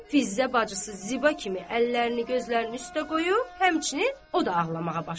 Fizzə bacısı Ziba kimi əllərini gözlərinin üstə qoyub, həmçinin o da ağlamağa başladı.